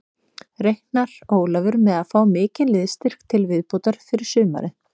Reiknar Ólafur með að fá mikinn liðsstyrk til viðbótar fyrir sumarið?